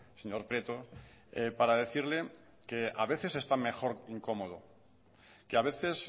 señor prieto para decirle que a veces se está mejor incómodo que a veces